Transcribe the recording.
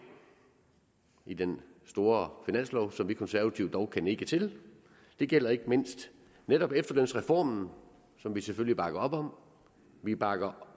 i den store finanslov som vi konservative dog kan nikke til det gælder ikke mindst netop efterlønsreformen som vi selvfølgelig bakker op om vi bakker